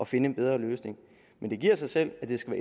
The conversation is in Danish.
finde en bedre løsning men det giver sig selv at det skal